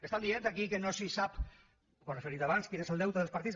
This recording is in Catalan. estan dient aquí que no sé sap ho han referit abans quin és el deute dels partits